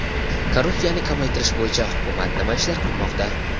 Korrupsiyani kamaytirish bo‘yicha hukumat nima ishlar qilmoqda?.